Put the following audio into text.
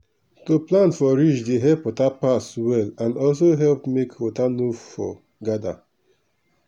to plant for ridge dey help water pass well and also help make water no for gather